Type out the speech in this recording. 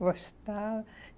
Gostava.